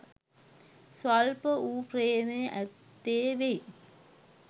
ස්වල්ප වූ ප්‍රේමය ඇත්තේ වෙයි.